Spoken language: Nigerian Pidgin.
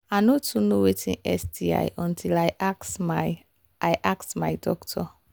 i no too know watin sti until i ask my i ask my doctor